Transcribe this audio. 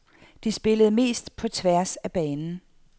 De spillede mest på tværs af banen.